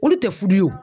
Olu tɛ furu ye wo